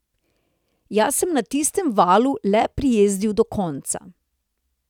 Jaz sem na tistem valu le prijezdil do konca.